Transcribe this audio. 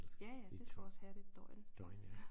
Ja ja det skal også hærde et døgn